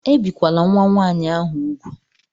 Ebìkwala nwa nwaanyị ahụ úgwù!